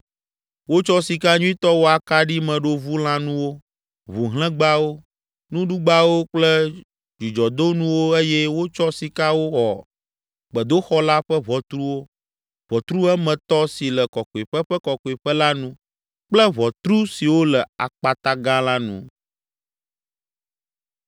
Wotsɔ sika nyuitɔ wɔ akaɖimeɖovulãnuwo, ʋuhlẽgbawo, nuɖugbawo kple dzudzɔdonuwo eye wotsɔ sika wɔ gbedoxɔ la ƒe ʋɔtruwo, ʋɔtru emetɔ si le Kɔkɔeƒe ƒe Kɔkɔeƒe la nu kple ʋɔtru siwo le akpata gã la nu.